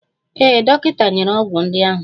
Ee, dọkịta nyere ọgwụ ndị ahụ.